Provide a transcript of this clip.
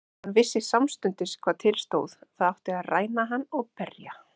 Hann vissi samstundis hvað til stóð, það átti að ræna hann og berja.